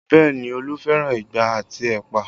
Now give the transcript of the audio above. Bẹẹ ni, Olu fẹ́ràn igbá àti ẹ̀pà